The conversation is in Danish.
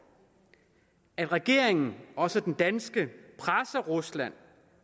at regeringen også den danske presser rusland